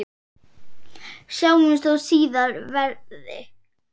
Sjáumst þó síðar verði.